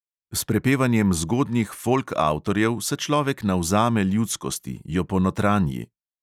S prepevanjem zgodnjih folk avtorjev se človek navzame ljudskosti, jo ponotranji.